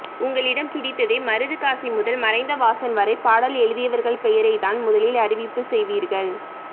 உங்களிடம் பிடித்ததே மருதுகாசி முதல் மறைந்த வாசன் வரை பாடல் எழுதியவர்கள் பெயரைத்தான் முதலில் அறிவிப்பு செய்வீர்கள்